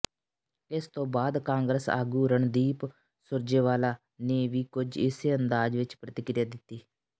ਇਸ ਤੋਂ ਬਾਅਦ ਕਾਂਗਰਸ ਆਗੂ ਰਣਦੀਪ ਸੁਰਜੇਵਾਲਾ ਨੇ ਵੀ ਕੁਝ ਇਸੇ ਅੰਦਾਜ਼ ਵਿਚ ਪ੍ਰਤੀਕਿਰਿਆ ਦਿੱਤੀ